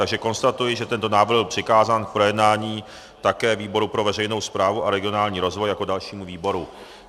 Takže konstatuji, že tento návrh byl přikázán k projednání také výboru pro veřejnou správu a regionální rozvoj jako dalšímu výboru.